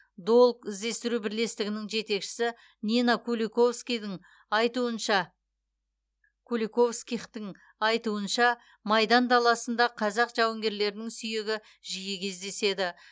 долг іздестіру бірлестігінің жетекшісі нина куликовскидің айтуынша куликовскихтің айтуынша майдан даласында қазақ жауынгерлерінің сүйегі жиі кездеседі